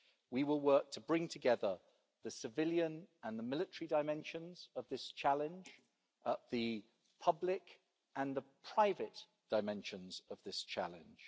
We will work to bring together the civilian and the military dimensions of this challenge and the public and the private dimensions of this challenge.